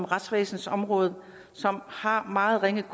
retsvæsensområdet som har meget ringe